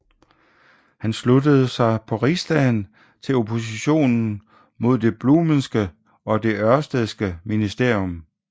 Han sluttede sig på Rigsdagen til oppositionen mod det Bluhmeske og det Ørstedske ministerium